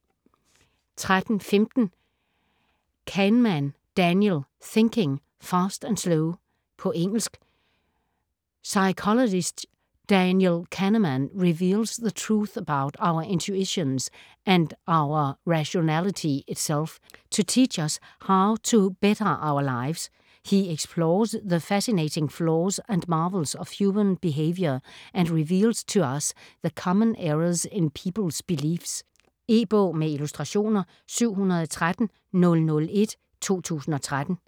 13.15 Kahneman, Daniel: Thinking, fast and slow På engelsk. Psychologist Daniel Kahneman reveals the truth about our intuitions, and our rationality itself, to teach us how to better our lives. He explores the fascinating flaws and marvels of human behaviour and reveals to us the common errors in people's beliefs. E-bog med illustrationer 713001 2013.